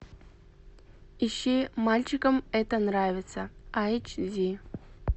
ищи мальчикам это нравится айч ди